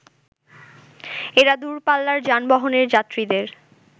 এরা দূরপাল্লার যানবাহনের যাত্রীদের